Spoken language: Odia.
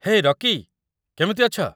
ହେ, ରକି। କେମିତି ଅଛ?